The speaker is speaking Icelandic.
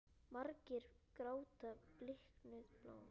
Margir gráta bliknuð blóm.